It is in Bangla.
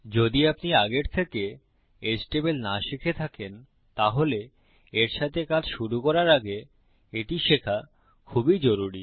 যদি আপনি আগের থেকে এচটিএমএল না শিখে থাকেন তাহলে এর সাথে কাজ শুরু করার আগে এটি শেখা খুব জরুরি